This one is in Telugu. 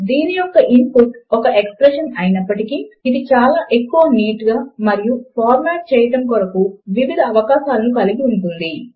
దీని యొక్క ఇన్ పుట్ ఒక ఎక్స్ప్రెషన్ అయినప్పటికీ ఇది చాలా ఎక్కువ నీట్ గా మరియు ఫార్మాట్ చేయడము కొరకు వివిధ అవకాశములను కలిగి ఉంటుంది